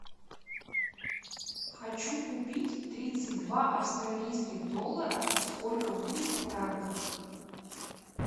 хочу купить тридцать два австралийских доллара сколько будет в франках